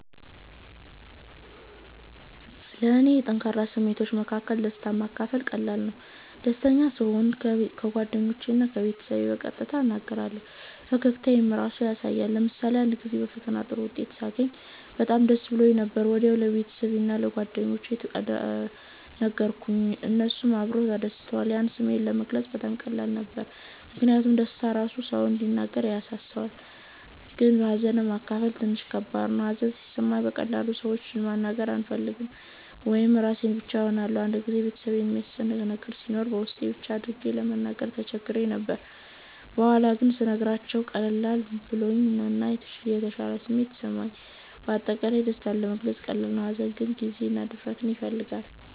ለእኔ ከጠንካራ ስሜቶች መካከል ደስታን ማካፈል ቀላል ነው። ደስተኛ ስሆን ለጓደኞቼ እና ለቤተሰቤ በቀጥታ እነግራቸዋለሁ፣ ፈገግታዬም ራሱ ያሳያል። ለምሳሌ አንድ ጊዜ በፈተና ጥሩ ውጤት ሳገኝ በጣም ደስ ብሎኝ ነበር። ወዲያው ለጓደኞቼ እና ለቤተሰቤ ነገርኩት፣ እነሱም አብረውኝ ተደስተዋል። ያን ስሜት ለመግለጽ በጣም ቀላል ነበር ምክንያቱም ደስታ ራሱ ሰውን እንዲነጋገር ያነሳሳል። ግን ሀዘንን ማካፈል ትንሽ ከባድ ነው። ሀዘን ሲሰማኝ በቀላሉ ለሰዎች መናገር አልፈልግም ወይም ራሴን ብቻ እሆናለሁ። አንድ ጊዜ ቤተሰቤን የሚያስጨንቅ ነገር ሲኖር በውስጤ ብቻ አድርጌ ለመናገር ተቸግሬ ነበር። በኋላ ግን ስነግራቸው ቀለል ብሎኝ እና የተሻለ ስሜት ተሰማኝ። በአጠቃላይ ደስታ ለመግለጽ ቀላል ነው፣ ሀዘን ግን ጊዜ እና ድፍረት ይፈልጋል።